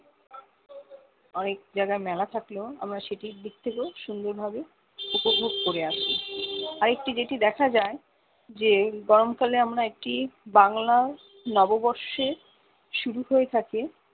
অনেক জায়গায় মেলা থাকলেও আমরা সেটির দিক থেকেও সুন্দর ভাবে উপভোগ করে আসি আরেকটি যেটি দেখা যায় যে গরম কাল আমরা একই বাংলায় নববর্ষে শুরু হয়ে থাকে